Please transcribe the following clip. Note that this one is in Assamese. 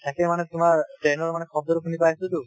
তাকে মানে তোমাৰ train ৰ মানে শব্দটো শুনি পাইছোঁটো